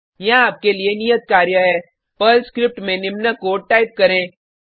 यहाँ आपके लिए नियत कार्य है पर्ल स्क्रिप्ट में निम्न कोड टाइप करें